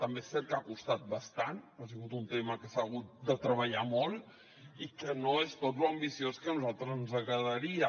també és cert que ha costat bastant ha sigut un tema que s’ha hagut de treballar molt i que no és tot lo ambiciós que a nosaltres ens agradaria